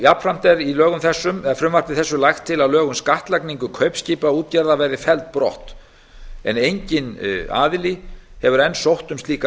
jafnframt er í frumvarpi þessu lagt til að lög um skattlagningu kaupskipaútgerðar verði felld brott en enginn aðili hefur enn sótt um slíka